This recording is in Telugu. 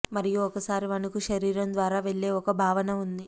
మరియు ఒకసారి వణుకు శరీరం ద్వారా వెళ్ళే ఒక భావన ఉంది